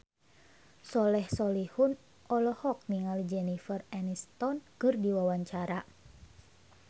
Soleh Solihun olohok ningali Jennifer Aniston keur diwawancara